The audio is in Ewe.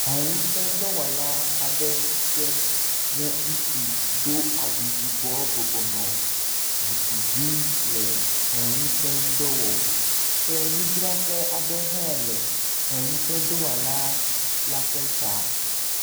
He ŋusẽdɔwɔla aɖe si ke nye ŋutsu do awu yibɔ bɔbɔnɔ zikpui dzi le he ŋusẽ ŋdɔ wɔm ke nudzraƒe aɖe hã le heŋusẽdɔwɔla la ƒe xa.